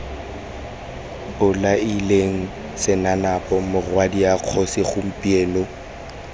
bolaileng senanapo morwadia kgosi gompieno